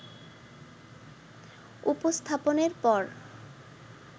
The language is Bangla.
উপস্থাপনের পর